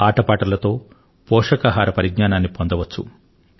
ఆట పాటలతో పోషకాహార పరిజ్ఞానాన్ని పొందవచ్చు